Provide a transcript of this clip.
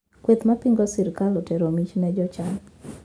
Kweth mapingo sirkal otero mich ne jochan